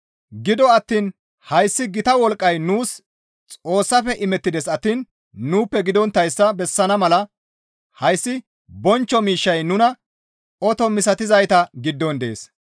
Gido attiin hayssi gita wolqqay nuus Xoossafe imettides attiin nuuppe gidonttayssa bessana mala hayssi bonchcho miishshay nunan oto misatizayta giddon dees.